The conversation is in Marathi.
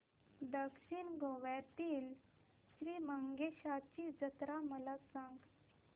दक्षिण गोव्यातील श्री मंगेशाची जत्रा मला सांग